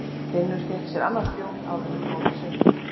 Finnur fékk sér annan bjór áður en þau fóru í sund.